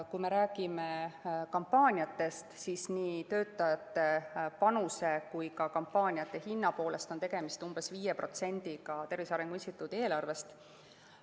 Kui me räägime kampaaniatest, siis nii töötajate panuse kui ka kampaaniate hinna poolest on tegemist umbes 5%‑ga Tervise Arengu Instituudi eelarvest.